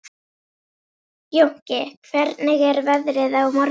Jónki, hvernig er veðrið á morgun?